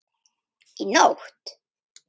Í nótt?